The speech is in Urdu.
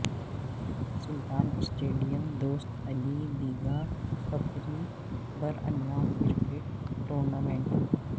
Sultan stadium Dost Ali Bigha Pakri Baranwan cricket tournament